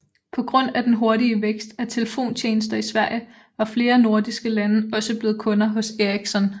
På grund af den hurtige vækst af telefontjenester i Sverige var flere nordiske lande også blevet kunder hos Ericsson